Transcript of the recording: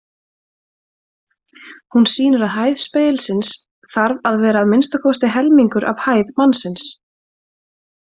Hún sýnir að hæð spegilsins þarf að vera að minnsta kosti helmingur af hæð mannsins.